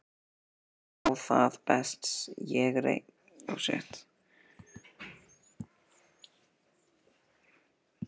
Jæja, þá það, best ég reyni.